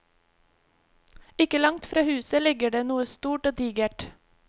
Ikke langt fra huset ligger det noe stort og digert.